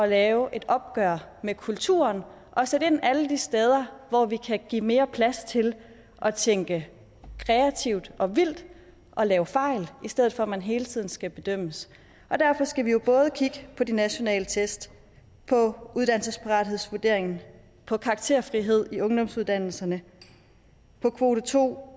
lave et opgør med kulturen og sætte ind alle de steder hvor vi kan give mere plads til at tænke kreativt og vildt og lave fejl i stedet for at man hele tiden skal bedømmes derfor skal vi jo både kigge på de nationale test uddannelsesparathedsvurderingen karakterfrihed i ungdomsuddannelserne kvote to